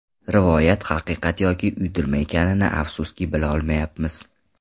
Rivoyat haqiqat yoki uydirma ekanini, afsuski, bila olmaymiz.